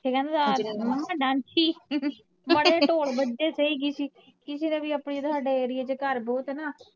ਫਿਰ ਕਹਿੰਦਾ ਹੁੰਦਾ ਮੰਮੀ ਡਾਂਸੀ ਮਾੜਾ ਜਿਹਾ ਢੋਲ ਵੱਜੇ ਸਹੀ ਕਿਤੇ ਕਿਸੀ ਦਾ ਵੀ ਆਪਣੇ ਇੱਥੇ ਹਾਡੇ area ਚ ਘਰ ਬਹੁਤ ਆ ਨਾ।